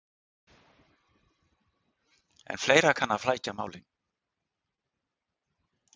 En fleira kann að flækja málin.